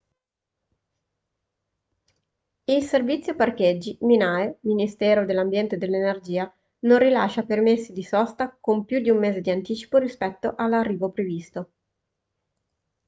il servizio parcheggi minae - ministero dell'ambiente e dell'energia non rilascia permessi di sosta con più di un mese di anticipo rispetto all'arrivo previsto